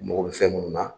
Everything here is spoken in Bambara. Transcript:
U mago bɛ fɛn munnu na